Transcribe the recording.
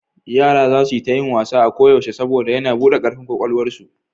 Yara za su yi ta yin wasa a koyaushe saboda yana buɗe ƙarfin ƙwaƙwalwarsu.